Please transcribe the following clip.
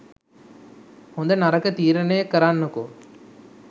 හොඳ නරක තීරණය කරන්නකෝ